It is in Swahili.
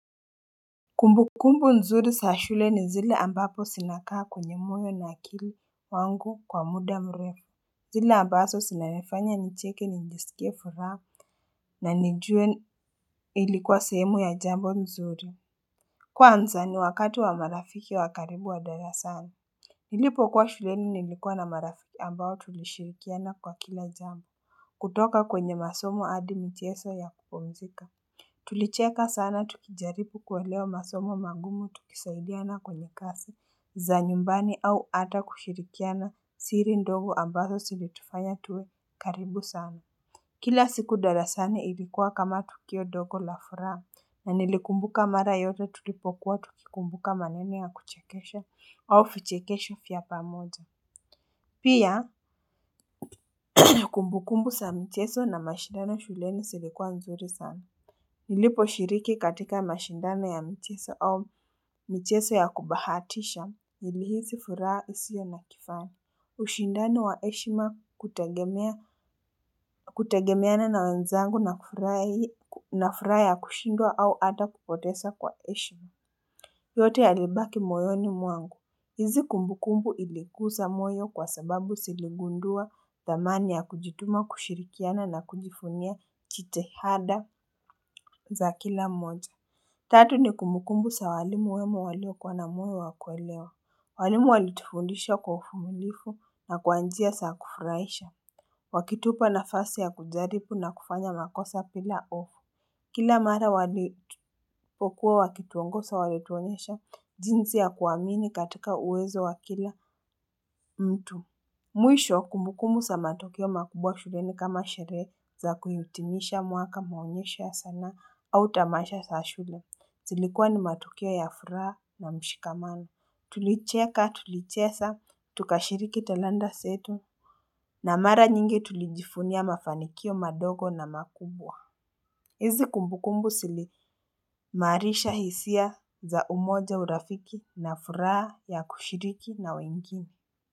Kumbukumbu nzuri za shule ni zile ambapo zinakaa kwenye moyo na akili wangu kwa muda mrefu. Zile ambazo zinanifanya nicheke nijisike furaha na nijue ilikuwa sahemu ya jambo nzuri. Kwanza ni wakati wa marafiki wakaribu wa darasani. Nilipo kuwa shuleni nilikuwa na marafiki ambao tulishirikiana kwa kila jambo. Kutoka kwenye masomo hadi michezo ya kupumzika. Tulicheka sana tukijaripu kuelewa masomo mangumu tukisaidiana kwenye kazi za nyumbani au hata kushirikiana siri ndogo ambazo zilitufanya tuwe karibu sana. Kila siku darasani ilikuwa kama tukio ndogo la furaha na nilikumbuka mara yote tulipokuwa tukikumbuka maneni na kuchekesha au vichekesho vya pamoja. Pia kumbukumbu zamichezo na mashidano shuleni zilikuwa nzuri sana. Nilipo shiriki katika mashindano ya michezo au michezo ya kubahatisha, nilihisi furaha isiyo na kifano. Ushindano wa heshima kutagemea kutegemeana na wenzangu na furaha kushindwa au hata kupoteza kwa heshima. Yote ya libaki moyoni mwangu. Hizi kumbukumbu ilikuza moyo kwa sababu ziligundua dhamani ya kujituma kushirikiana na kujivunia kitihada za kila moja. Tatu ni kumukumbu za walimu wemo waliokwa na moyo wakuelewa, walimu walitufundisha kwa uvumilivu na kwa njia za kufurahisha. Wakitupa nafasi ya kujaribu na kufanya makosa bila hofu. Kila mara walipokuwa wakituongoza walituonyesha jinsi ya kuwamini katika uwezo wa kila mtu. Mwisho kumbukumu za matukio makubwa shuleni kama sherehe za kuitimisha mwaka maonyesho sanaa au tamasha za shule. Zilikuwa ni matukio ya furaha na mshikamano. Tulicheka tulicheza tukashiriki telanda zetu. Na mara nyingi tulijivunia mafanikio madogo na makubwa. Hizi kumbukumbu zilimaarisha hisia za umoja, urafiki na furaha ya kushiriki na wengine.